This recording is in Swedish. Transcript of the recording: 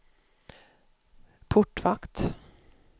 portvakt